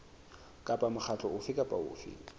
kapa mokgatlo ofe kapa ofe